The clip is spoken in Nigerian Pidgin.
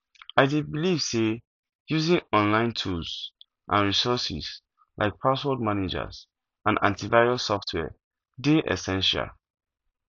i dey believe say using online tools and resources like password managers and antivirus software dey essential